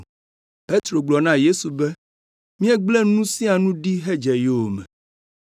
Petro gblɔ na Yesu be, “Míegblẽ nu sia nu ɖi hedze yowòme.”